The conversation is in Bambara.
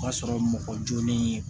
O ka sɔrɔ mɔgɔ jolen